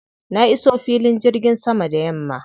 Na iso filin jirgin sama da yamma.